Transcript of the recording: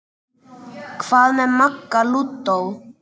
Hvað með Magga lúdó?